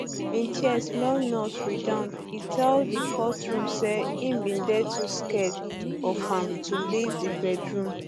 in tears male nurse redouan e tell um di courtroom um say im bin dey too scared of am to leave di bedroom